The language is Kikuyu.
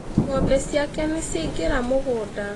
Ng'ombe ciake nĩ ciaingĩra mũgũnda.